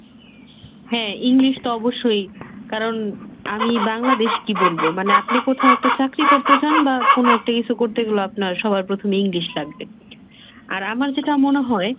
হ্যাঁ, english তো অবশ্যই। কারণ আমি Bangladesh এ কি বলবো আপনি কোথাও একটা চাকরি করতে চান বা কোন একটা কিছু করতে গেলেও আপনার সবার প্রথমে english লাগবে। আর আমার যেটা মনে হয়,